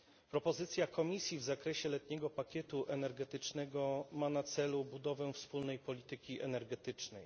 Propozycja Komisji w zakresie letniego pakietu energetycznego ma na celu budowę wspólnej polityki energetycznej.